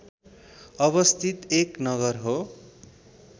अवस्थित एक नगर हो